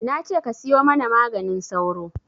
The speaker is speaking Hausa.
Nace ka siyo mana maganin sauro